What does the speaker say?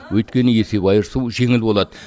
өйткені есеп айырысу жеңіл болады